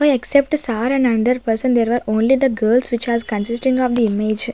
the except sir and under person and there were only the girls which has consisting of the image.